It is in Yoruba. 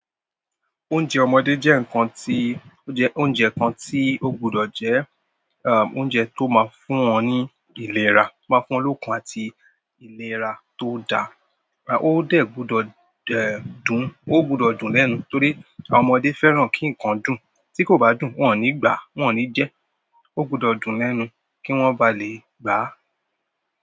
Oúnjẹ ọmọdé jẹ́ ǹkan tí, o je, oúnjẹ kan tí ó gbọdọ̀ jẹ́, à, oúnjẹ tó máa fún wọn ní ìlera, tó máa fún wọn lókun àti ìlera tó da. A, ó dẹ̀ gbudo, dẹ, dùn, ó gbudọ̀ dùn lẹ́nu torí àwọn ọmọdé fẹ́ràn kí ǹkan dùn, tí kò bá dùn, wọn ní gbà, wọn ní jẹ. Ó gbudọ̀ dùn lẹ́nu kí wọ́n bá lè gbà á.